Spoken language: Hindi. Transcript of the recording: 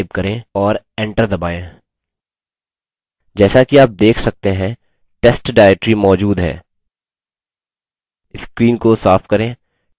जैसा कि आप let सकते हैं test directory मौजूद है screen को साफ करें